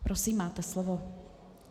Prosím, máte slovo.